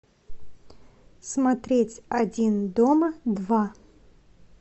смотреть один дома два